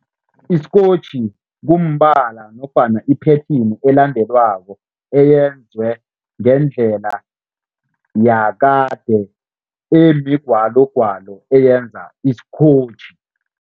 Isikotjhi kumbala nofana iphethini elandelwako eyenzwe ngendlela yakade emigwalogwalo, eyenza isikotjhi.